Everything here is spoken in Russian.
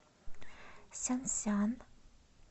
сянсян